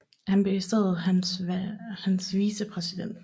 Han blev i stedet hans vicepræsident